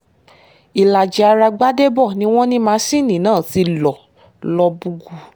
ìlàjì ará gbadébó ni wọ́n ní masinni náà ti lọ lóbùgbù